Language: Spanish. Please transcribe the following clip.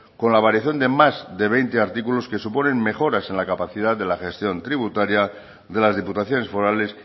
con la variación de más de veinte artículos que suponen mejoras en la capacidad de la gestión tributaria de las diputaciones forales